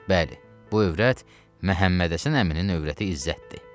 Bəli, bu övrət Məhəmmədhəsən əminin övrəti İzzətdir.